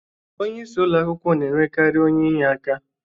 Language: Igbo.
Onye isi ụlọakwụkwọ n'enwekari onye inyeaka.